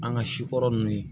An ka si kɔrɔ nunnu ye